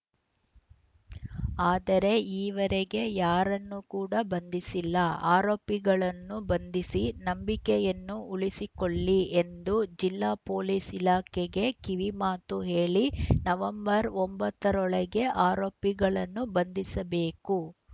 ಆದರೆ ಈವರೆಗೆ ಯಾರನ್ನು ಕೂಡ ಬಂಧಿಸಿಲ್ಲ ಆರೋಪಿಗಳನ್ನು ಬಂಧಿಸಿ ನಂಬಿಕೆಯನ್ನು ಉಳಿಸಿಕೊಳ್ಳಿ ಎಂದು ಜಿಲ್ಲಾ ಪೊಲೀಸ್‌ ಇಲಾಖೆಗೆ ಕಿವಿ ಮಾತು ಹೇಳಿ ನವೆಂಬರ್‌ ಒಂಬತ್ತ ರೊಳಗೆ ಆರೋಪಿಗಳನ್ನು ಬಂಧಿಸಬೇಕು